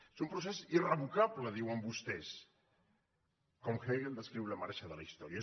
és un procés irrevocable diuen vostès com hegel descriu la marxa de la història